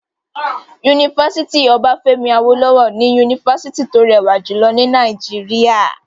Yunifásítì Obafemi Awolowo ni yunifásítì tó rẹwà jùlọ ní Nàìjíríà.